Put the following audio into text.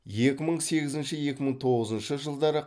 екі мың сегізінші екі мың тоғызыншы жылдары